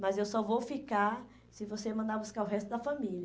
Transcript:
Mas eu só vou ficar se você mandar buscar o resto da família.